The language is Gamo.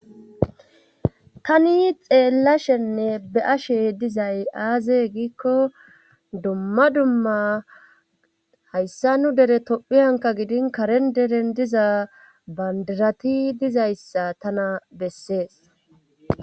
Tani xeellashenne be ashe dizay aaze g1000356451353iikko dumma dumma hayssa nu dere tophi hanka gidin karen deren diza bandirati dizayssa tana bessees.